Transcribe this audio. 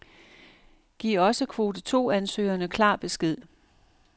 Giv også kvote to ansøgerne klar besked.